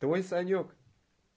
твой санёк